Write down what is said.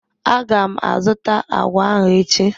Aga m azụta agwa ahụ echi.